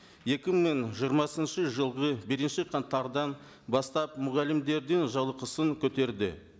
екі мың жиырмасыншы жылғы бірінші қаңтардан бастап мұғалімдердің жалақысын көтерді